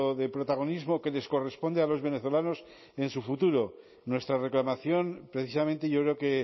de protagonismo que les corresponde a los venezolanos en su futuro nuestra reclamación precisamente yo creo que